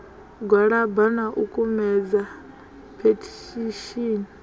gwalaba na u kumedza phethishini